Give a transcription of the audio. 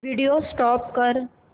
video stop कर